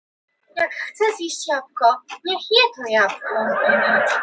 Hvernig á ég að koma einu elli í viðbót á skiltið?